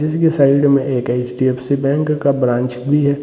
जिसके साइड में एक अच.डी.एफ.सी. बैंक का ब्रांच भी है।